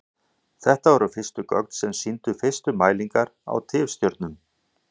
Þetta voru gögnin sem sýndu fyrstu mælingar á tifstjörnum.